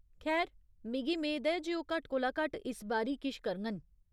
खैर, मिगी मेद ऐ जे ओह् घट्ट कोला घट्ट इस बारी किश करङन।